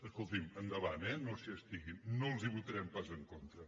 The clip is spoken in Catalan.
escoltin endavant eh no s’hi estiguin no els ho votarem pas en contra